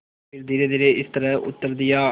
फिर धीरेधीरे इस तरह उत्तर दिया